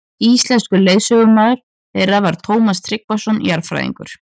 Íslenskur leiðsögumaður þeirra var Tómas Tryggvason jarðfræðingur.